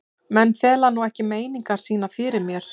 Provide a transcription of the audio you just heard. Menn fela nú ekki meiningar sínar fyrir mér.